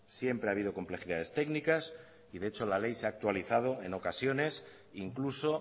siempre ha habido complejidades técnicas y de hecho la ley se ha actualizado en ocasiones incluso